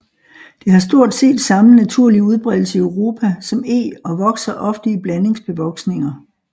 Det har stort set samme naturlige udbredelse i Europa som eg og vokser ofte i blandingsbevoksninger